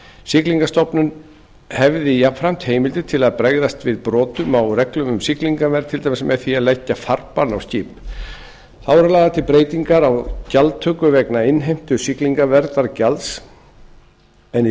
siglingastofnun hefði jafnframt heimildir til að bregðast við brotum á reglum um siglingavernd til dæmis með því að leggja farbann á skip þá eru lagðar til breytingar á gjaldtöku vegna innheimtu siglingaverndargjalds en í